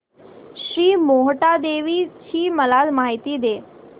श्री मोहटादेवी ची मला माहिती दे